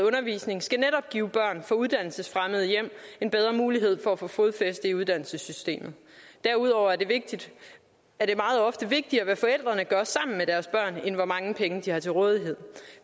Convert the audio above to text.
undervisning skal netop give børn fra uddannelsesfremmede hjem en bedre mulighed for at få fodfæste i uddannelsessystemet derudover er det meget ofte vigtigere hvad forældrene gør sammen med deres børn end hvor mange penge de har til rådighed